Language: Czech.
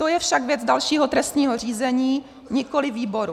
To je však věc dalšího trestního řízení, nikoliv výboru.